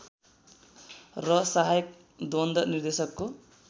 र सहायक द्वन्द निर्देशकको